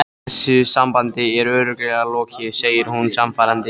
Þessu sambandi er örugglega lokið, segir hún sannfærandi.